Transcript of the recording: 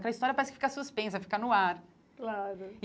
Aquela história parece que fica suspensa, fica no ar claro.